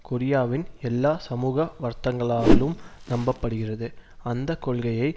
கொரியாவின் எல்லா சமூக வர்த்தங்களாலும் நம்ப படுகிறது அந்த கொள்கையை